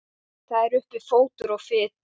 Það er uppi fótur og fit.